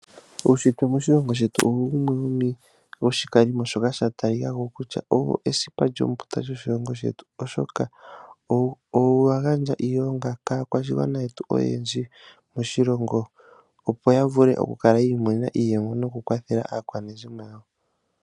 Uunshitwe woshilongo shetu owo wumwe wo shikalimo shoka sha tali kako kutya owo esipa lyombunda lyoshilongo shetu, oshoka owa gandja iilonga kaakwashigwana yetu oyendji moshilongo, opo ya vule oku kala yi imonena iiyemo, noku kwathela aakwanezimo yawo.